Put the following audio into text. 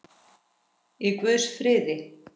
Í guðs friði.